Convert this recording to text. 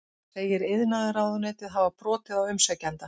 Segir iðnaðarráðuneytið hafa brotið á umsækjanda